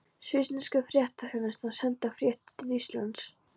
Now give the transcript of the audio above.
Svissnesku fréttaþjónustuna, senda fréttir til Íslands.